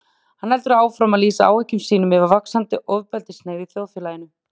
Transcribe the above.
Hann heldur áfram að lýsa áhyggjum sínum yfir vaxandi ofbeldishneigð í þjóðfélaginu.